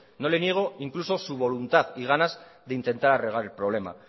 no le niego incluso su voluntad y ganas de intentar arreglar el problema